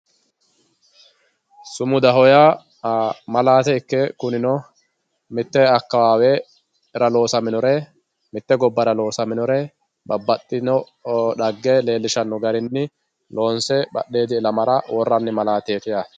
Sumudaho yaa malate ikke kunino mitte akawawera loosaminore, mite gobbara loosaminore babaxino xagge leellishano garinni loonse badhiidi illamara worani malateti yaate